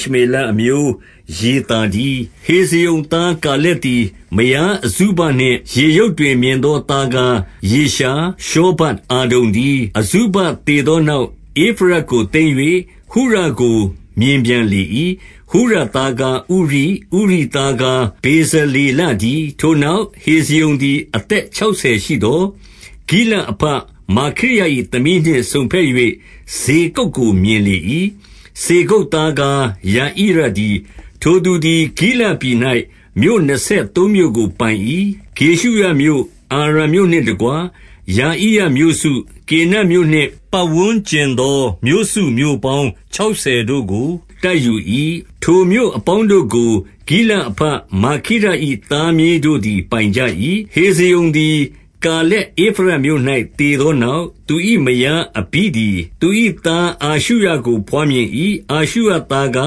ရှမေလအမျိုးယေသာတည်း။ 18 ဟေဇရုံသား ကာလက်သည် မယားအဇုဘနှင့် ယေရုတ်တွင် မြင်သောသားကား ရှောဗပ်၊ အာဒုန်တည်း။ 19 အဇုဘသေသောနောက် ဧဖရတ်ကို သိမ်း၍ ဟုရကို မြင်ပြန်လေ၏။ 20 ဟုရသားကား ဥရိ၊ ဥရိသားကား ဗေဇလေ လတည်း။ 21 ထိုနောက်၊ ဟေဇရုံသည် အသက်ခြောက်ဆယ် ရှိသော်၊ ဂိလဒ်အဘမာခိရ၏သမီးနှင့် စုံဘက်၍ စေဂုပ် ကို မြင်လေ၏။ 22 စေဂုပ်သားကား ယာဣရတည်း။ ထိုသူသည် ဂိလဒ်ပြည်၌ မြို့နှစ်ဆယ်သုံးမြို့ကို ပိုင်၏။ 23 ဂေရှုရမြို့၊ အာရံမြို့နှင့်တကွ ယာဣရမြို့စု၊ ကေနတ်မြို့နှင့် ပတ်ဝန်းကျင်သော မြို့စုမြို့ပေါင်း ခြောက်ဆယ်တို့ကို တိုက်ယူ၏။ ထိုမြို့အပေါင်းတို့ကို ဂိလဒ်အဘ မာခိရ၏သားမြေးတို့သည် ပိုင်ကြ၏။ 24 ဟေဇရုံသည်က၏ ကာလက်ဧဖရတ်မြို့၌ သေသောနောက်၊ သူ၏မယား အဘိသည် သူ၏သား အာရှုရကို ဘွားမြင်၏။ အားရှုရသား ကာ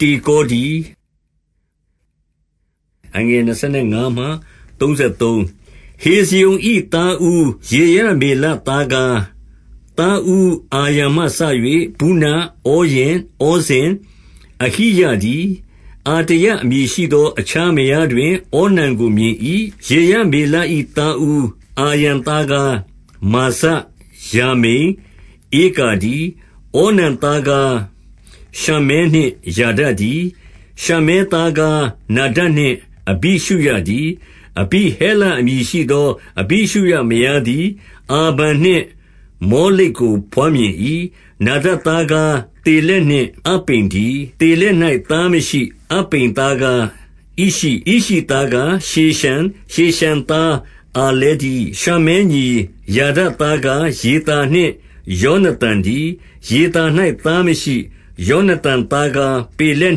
တေကော တည်း။ 25 ဟေဇရုံ၏ သားဦးယေရမေလ သားကား သားဦးအာရံမှစ၍ ဗုန၊ ဩရင်၊ ဩဇင်၊ အဟိယတည်း။ 26 အာတရအမည်ရှိသော အခြားမယားတွင် ဩနံကိုမြင်၏။ 27 ယေရမေလ၏ သားဦး အာရံသားကားမာဇ၊ ယာမိန်၊ ဧကာတည်း။ 28 ဩနံသားကားရှမ္မဲနှင့် ယာဒတည်း။ ရှမ္မဲသား ကား နာဒပ်နှင့် အဘိရှုရတည်း။ 29 အဘိဟဲလ အမည်ရှိသော အဘိရှုရမယားသည် အာဗန်နှင့် မောလိဒ်ကို ဘွားမြင်၏။ 30 နာဒပ်သားကား သေလက်နှင့် အပ္ပိမ်တည်း။ သေလက်၌သားမရှိ။ 31 အပ္ပိမ်သားကား ဣရှိ၊ ဣရှိသားရှေရန်၊ ရှေရှန်သား အာလဲတည်း။ 32 ရှမ္မဲညီယာဒသားကား ယေသာနှင့်ယောနသန် တည်း။ ယေသာ၌ သားမရှိ။ 33 ယောနသန်သားကား ပေလက်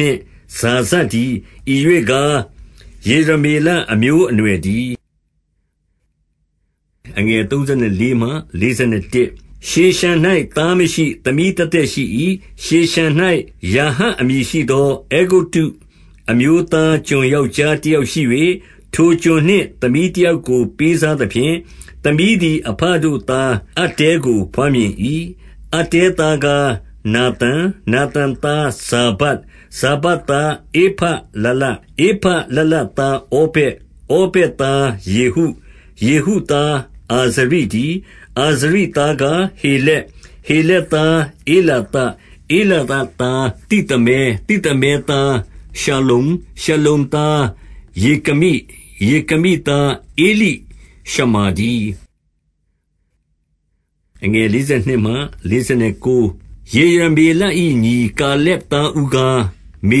နှင့် ဇာဇတည်း။ ဤရွေ့ကား ယေရမေလအမျိုးအနွယ်တည်း။ 34 ရှေရှန်၌သားမရှိ။ သမီးသက်သက်ရှိ၏။ ရှေရှန် ၌ ယာဟအမည်ရှိသော အဲဂုတ္တုအမျိုးသား ကျွန် ယောက်ျားတယောက်ရှိ၍၊ 35 ထိုကျွန်နှင့်သမီးတယောက်ကို ပေးစားသဖြင့်။ သမီးသည် အဘတို့သားအတ္တဲကို ဘွားမြင်၏။ 36 အတ္တဲသားကား နာသန်၊ နာသန်သားဇာဗဒ်။ 37 ဇာဗဒ်သားဧဖလလ။ ဧဖလလသားဩဗက်၊ 38 ဩဇက်သားယေဟု၊ ယေဟုသား အာဇရိတည်း။ 39 အာဇရိသားကား ဟေလက်၊ ဟေလက်သား ဧလာသ၊ 40 ဧလာသသားသိသမဲ၊ သိသမဲသား ရှလ္လုံ၊ 41 ရှလ္လုံသား ယေကမိ၊ ယေကမိ သားဧလိရှမာ တည်း။ 42 ယေရမေလ၏ညီ ကာလက်သားဦးကား မေ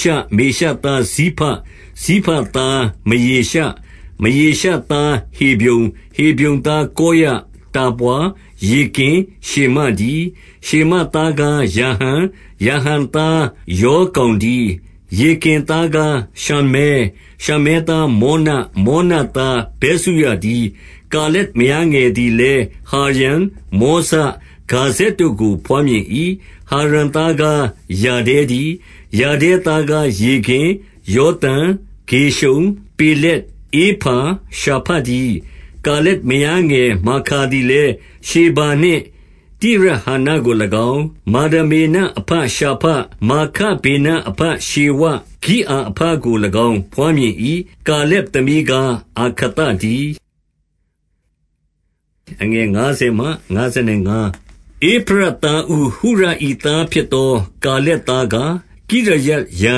ရှ၊ မေရှသားဇိဖ၊ ဇိဖသားမရေရှ၊ မရေရှသား ဟေဗြုန်၊ 43 ဟေဗြုန်သား ကောရ၊ တာပွါ၊ ရေကင်၊ ရှေမ တည်း။ 44 ရှေမသားကားရာဟံ၊ ရာဟံသားယော်ကောင် တည်း။ ရေကင်သားကား ရှမ္မဲ၊ 45 ရှမ္မဲသား မောန၊ မောနသားဗက်ဇုရတည်း။ 46 ကာလက်မယားငယ်သည် လည်းဟာရန်၊ မောဇ၊ ဂါဇက်တို့ကို ဘွားမြင်၏။ ဟာရန်သားကား ယာဒဲ တည်း။ 47 ယာဒဲသားကားရေဂင်၊ ယောသံ၊ ဂေရှံ၊ ပေလက်၊ ဧဖာ၊ ရှာဖ တည်း။ 48 ကာလက်မယားငယ်မာခါသည်လည်း၊ ရှေဗာနှင့် တိရဟာနကို၎င်း၊ 49 မာဒမေနအဘရှာဖ၊ မာခဗေနအဘရှေဝ၊ ဂိအာအဘကို၎င်း ဘွားမြင်၏။ ကာလက်သမီးကား အာခသတည်း။ 50 ဧဖရတ်သားဦး ဟုရ၏သားဖြစ်သော ကာလက် သားကား၊ ကိရယတ်ယာ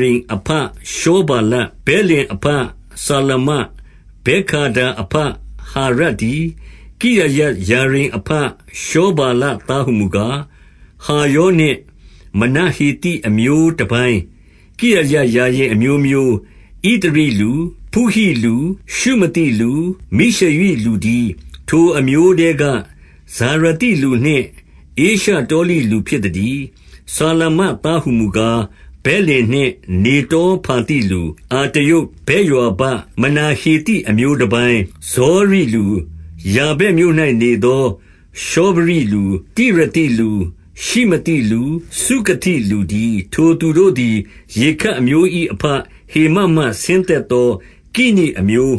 ရိမ် အဘရှောဗာလ၊ 51 ဗက်လင်အဘစလမ၊ ဗက်ဂါဒါအဘဟာရပ် တည်း။ 52 ကိရယတ်ယာရိမ်အဘ ရှောဗာလသားဟူမူ ကား၊ ဟာရောနှင့်မနဟေသိ အမျိုးတပိုင်း၊ 53 ကိရယတ်ယာရိမ်အမျိုးမျိုး၊ ဣသရိလူ၊ ဖုဟိလူ၊ ရှုမသိလူ၊ မိရှရိလူတည်း။ ထိုအမျိုးထဲက ဖာရာသိလူနှင့် ဧရှတောလိလူဖြစ်သတည်း။ 54 စလမသားဟူမူကား၊ ဗက်လင်နှင့် နေတော ဖာသိလူ၊ အတရုတ်၊ ဗက်ယွာဘ၊ မနဟေသိ အမျိုးတပိုင်း၊ ဇောရိလူ၊ 55 ယာဗက်မြို့၌နေသော ရှောဖရိလူ၊ တိရသိလူ၊ ရှိမသိလူ၊ စုခသိလူတည်း။ ထိုသူတို့သည် ရေခပ်အမျိုး၏ အဘဟေမတ်မှ ဆင်းသက်သော ကိနိအမျိုး